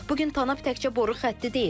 Bu gün Tanap təkcə boru xətti deyil.